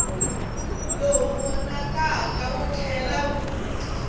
lowu vonakaka wu tlhela wu